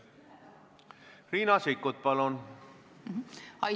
Riina Sikkut, palun!